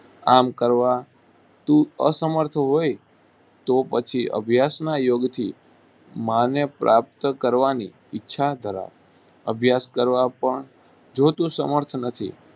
આમ કરવા તું અસમર્થ હોય, તો પછી અભ્યાસના યોગ્યથી માને પ્રાપ્ત કરવાની ઈચ્છા ધરાવ. અભ્યાસ કરવા પણ જો તું સમર્થ નથી